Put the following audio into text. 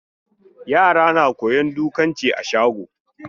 Yara na koyon dukanci a shago.